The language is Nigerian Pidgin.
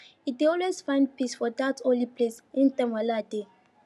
he dey always find peace for dat holy place anytime wahala dey